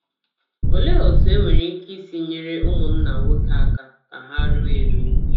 Olee otú e nwere ike isi nyere ụmụnna nwoke aka ka ha ruo eruo?